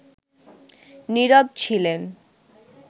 নীরব ছিলেন